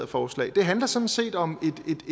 forslag det handler sådan set om